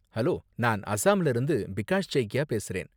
Hello! நான் அஸ்ஸாம்ல இருந்து பிகாஷ் சய்க்கியா பேசுறேன்.